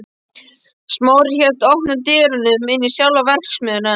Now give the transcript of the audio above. Smári hélt opnum dyrunum inn í sjálfa verksmiðjuna.